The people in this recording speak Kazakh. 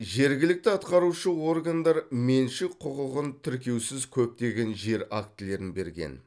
жергілікті атқарушы органдар меншік құқығын тіркеусіз көптеген жер актілерін берген